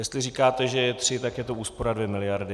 Jestli říkáte, že je 3, tak je to úspora 2 miliardy.